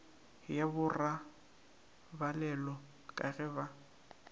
ya borobalelo ka ge ba